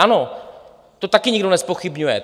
Ano, to také nikdo nezpochybňuje.